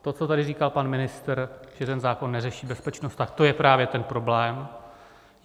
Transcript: To, co tady říkal pan ministr, že ten zákon neřeší bezpečnost, tak to je právě ten problém.